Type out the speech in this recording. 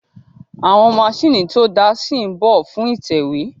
Àwọn maṣíìnì tó dáa si mbọ̀ fún ìtẹ̀wé